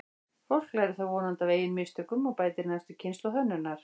Fólk lærir þó vonandi af eigin mistökum og bætir næstu kynslóð hönnunar.